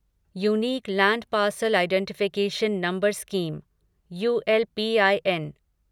unique land parcel identification number scheme ULPIN